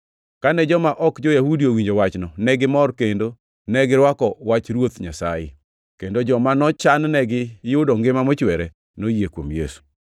Kane joma ok jo-Yahudi owinjo wachno, negimor kendo negirwako wach Ruoth Nyasaye, kendo joma nochan-negi yudo ngima mochwere noyie kuom Yesu.